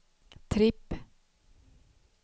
tripp